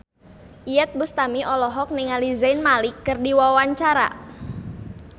Iyeth Bustami olohok ningali Zayn Malik keur diwawancara